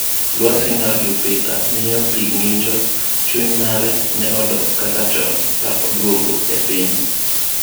Lwasi mar Jupiter ‘miyo pi ng’injo’ Chuny mare ne odok kaka chon ka odwogo e piny.